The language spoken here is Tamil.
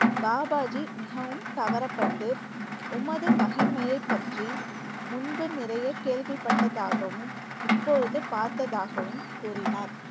பாபாஜி மிகவும் கவரப்பட்டு உமது மகிமையை பற்றி முன்பு நிறைய கேள்விப்பட்டதாகவும் இப்போது பார்த்ததாகவும் கூறினார்